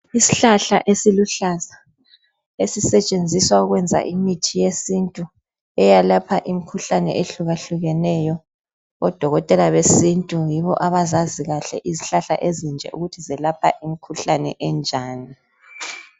Isihlahla esiluhlaza esisetshenziswa ukwenza imithi yesintu eyelapha imikhuhlane eyehlukahlukeneyo. Odokotela besintu yibo abazazi kahle izihlahla ezinje ukuthi zelapha imikhuhlane enjani.